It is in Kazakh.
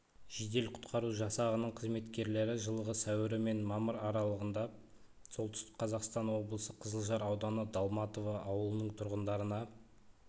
жедел-құтқару жасағының қызметкерлері жылғы сәуірі мен мамыр аралығында солтүстік қазақстан облысы қызылжар ауданы долматово ауылының тұрғындарына